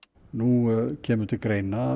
nú kemur til greina að